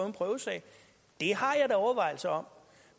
en prøvesag det har jeg da overvejelser om